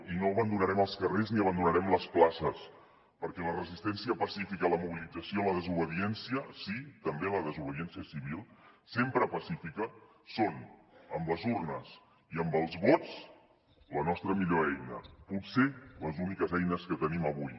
i no abandonarem els carrers ni abandonarem les places perquè la resistència pacífica la mobilització la desobediència sí també la desobediència civil sempre pacífica són amb les urnes i amb els vots la nostra millor eina potser les úniques eines que tenim avui